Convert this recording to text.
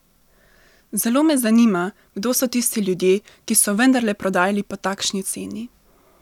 Zelo me zanima, kdo so tisti ljudje, ki so vendarle prodajali po takšni ceni?